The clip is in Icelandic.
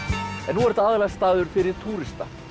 nú er þetta aðallega staður fyrir túrista